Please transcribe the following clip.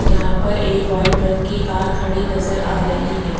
यहां पर एक वाइट रंग की कार खड़ी नजर आ रही है।